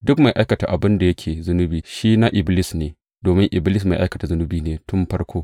Duk mai aikata abin da yake zunubi shi na Iblis ne, domin Iblis mai aikata zunubi ne tun farko.